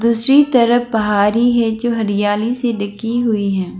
दूसरी तरफ पहारी है जो हरियाली से ढकी हुई है।